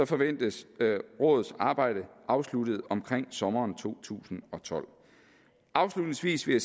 forventes rådets arbejde afsluttet omkring sommeren to tusind og tolv afslutningsvis vil